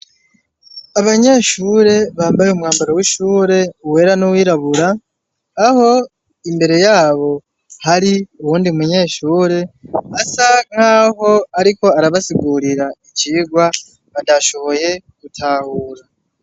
Abanyeshure bambaye umwambaro w'ishure wera n'uwirabura aho imbere yabo hari uwundi mumyeshure asa nkaho ariko arabasigurira icigwa batashoboye gutahura.